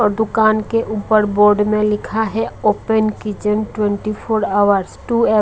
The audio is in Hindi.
और दुकान के ऊपर बोर्ड में लिखा है open kitchen twenty four hours -- two --